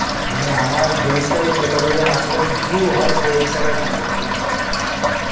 মানে আমার জিনিস টায়ে কে কতজন আছে যেমন view হয় সেই হিসাবে থাকবে নাকি?